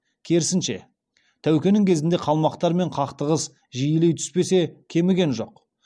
керісінше тәукенің кезінде қалмақтармен қақтығыс жиілей түспесе кеміген жоқ